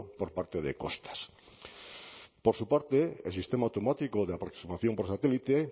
por parte de costas por su parte el sistema automático de aproximación por satélite